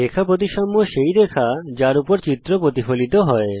রেখা প্রতিসাম্য সেই রেখা যার উপর চিত্র প্রতিফলিত হয়